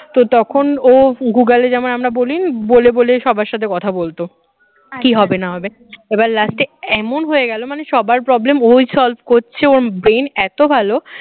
তো তখন ও গুগল যেমন আমরা বলি বলে বলে সবার সাথে কথা বলতো কি হবে না হবে এবার last এ এমন হয়ে গেল মানে সবার problem ওই solve করছে ওর brain এত ভালো